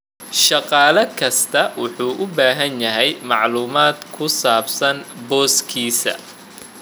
Shaqaale kastaa wuxuu u baahan yahay macluumaad ku saabsan booskiisa.